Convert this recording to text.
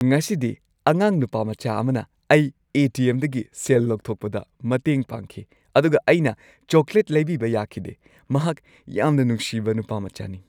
ꯉꯁꯤꯗꯤ ꯑꯉꯥꯡ ꯅꯨꯄꯥꯃꯆꯥ ꯑꯃꯅ ꯑꯩ ꯑꯦ. ꯇꯤ. ꯑꯦꯝ.ꯗꯒꯤ ꯁꯦꯜ ꯂꯧꯊꯣꯛꯄꯗ ꯃꯇꯦꯡ ꯄꯥꯡꯈꯤ ꯑꯗꯨꯒ ꯑꯩꯅ ꯆꯣꯀ꯭ꯂꯦꯠ ꯂꯩꯕꯤꯕ ꯌꯥꯈꯤꯗꯦ꯫ ꯃꯍꯥꯛ ꯌꯥꯝꯅ ꯅꯨꯡꯁꯤꯕ ꯅꯨꯄꯥꯃꯆꯥꯅꯤ꯫